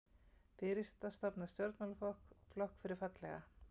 Fyrirsæta stofnar stjórnmálaflokk fyrir fallega